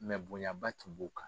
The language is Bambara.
bonyaba tun b'o kan